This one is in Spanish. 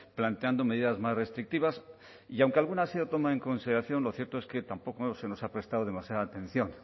planteando medidas más restrictivas y aunque alguna ha sido tomada en consideración lo cierto es que tampoco se nos ha prestado demasiada atención